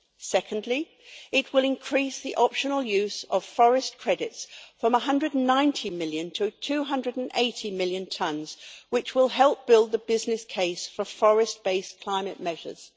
Secondly, it will increase the optional use of forest credits from 119 million to 280 million tons, which will help build the business case for forest based climate measures.